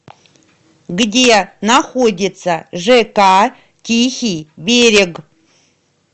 где находится жк тихий берег